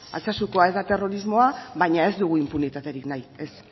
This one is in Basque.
altsasukoa ez da terrorismoa baina ez dugu inpunitaterik nahi ez